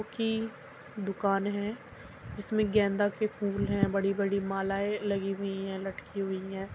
की दुकान है जिसमे गेंदा के फूल है। बड़ी-बड़ी मालाएं लगी हुई है लटकी हुई है।